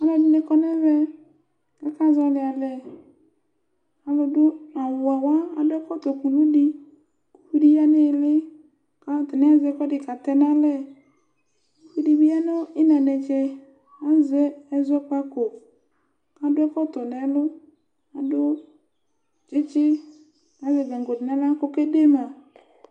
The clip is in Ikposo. Alʋɛdini kɔnʋ ɛvɛ, kʋ aka zɔli alɛ, alʋdʋ awʋwɛwa adʋ ɛkʋtɔ ʋkʋlʋ di kʋ ɛdi yanʋ iili, kʋ atani azɛ ɛkʋɛdi katɛ nʋ alɛ, owʋdi bi yanʋ iina netse, azɛ ɛzɔkpako, kʋ adʋ ɛkɔtɔ nʋ ɛlʋ, adʋ tsitsi kʋ azɛ gangodi nʋ aɣla kʋ ɔkɛde ma.